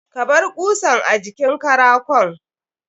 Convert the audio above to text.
Kabar kusan a jikin karakon.